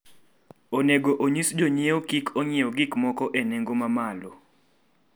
Onego onyis jonyiewo kik ong'iew gik moko e nengo mamalo.